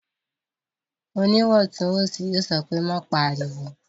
Oníwọ̀ntúnwọ̀nsì yóò sọ pé "má pariwo!"